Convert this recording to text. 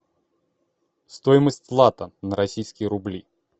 стоимость лата на российские рубли